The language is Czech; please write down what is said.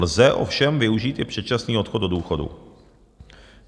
Lze ovšem využít i předčasný odchod do důchodu.